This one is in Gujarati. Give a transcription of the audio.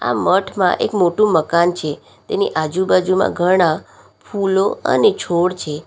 આ મઠમાં એક મોટું મકાન છે તેની આજુબાજુમાં ઘણા ફૂલો અને છોડ છે.